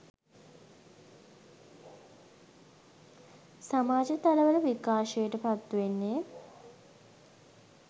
සමාජ තල වල විකාශයට පත් වෙන්නේ